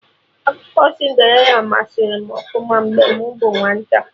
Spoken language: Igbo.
Akụkọ Cinderịla masari m ọfụma mgbe m bụ nwata